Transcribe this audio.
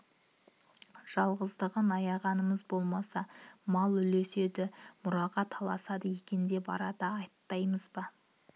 жалғыздығын аяғанымыз болмаса мал үлеседі мұраға таласады екен деп ардан аттаймыз ба